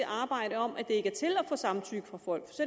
arbejde om at det ikke er til at få samtykke fra folk